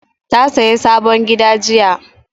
Ta saya sabon gida jiya